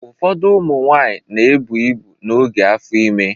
Ụfọdụ ụmụ nwanyị na-ebụ ibu n'oge afọ ime